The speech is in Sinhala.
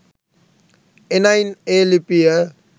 එනයින් ඒ ලිපිය